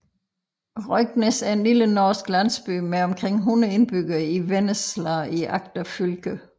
Røyknes er en lille norsk landsby med omkring 100 indbyggere i Vennesla i Agder fylke